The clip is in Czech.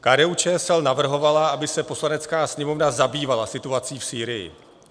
KDU-ČSL navrhovala, aby se Poslanecká sněmovna zabývala situací v Sýrii.